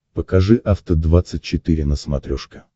покажи афта двадцать четыре на смотрешке